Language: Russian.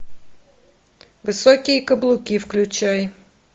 высокие каблуки включай